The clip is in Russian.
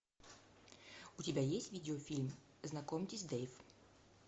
у тебя есть видеофильм знакомьтесь дэйв